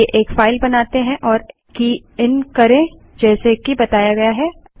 चलिए एक फाइल बनाते हैं और की इन करें जैसे कि बताया गया है